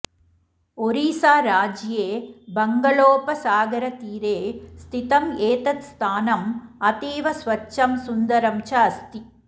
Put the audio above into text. ओरिस्साराज्ये बङ्गलोपसागरतीरे स्थितम् एतत् स्थानम् अतीव स्वच्छं सुन्दरं च अस्ति